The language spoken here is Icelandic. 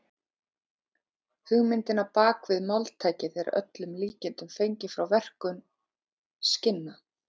Hugmyndin á bak við máltækið er að öllum líkindum fengin frá verkun skinna.